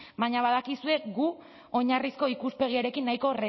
baina badakizue gu oinarrizko ikuspegiarekin nahiko